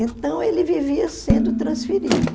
Então, ele vivia sendo transferido.